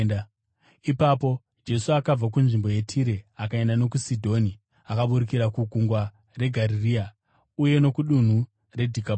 Ipapo Jesu akabva kunzvimbo yeTire akaenda nokuSidhoni, akaburukira kuGungwa reGarirea uye nokudunhu reDhekapori.